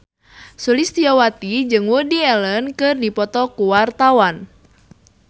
Sulistyowati jeung Woody Allen keur dipoto ku wartawan